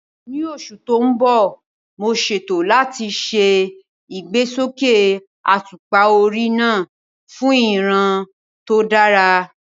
Ní oṣù tó ń bọ̀, mo ṣètò láti ṣe ìgbésókè àtùpà orí náà fún ìríran tó dára